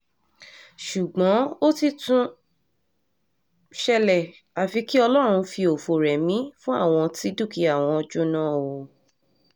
ṣùgbọ́n ó ti tún ṣẹlẹ̀ àfi kí ọlọ́run fi ọ̀fọ̀ rẹmi fún àwọn tí dúkìá wọn jóná o